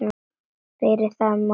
Fyrir það má þakka.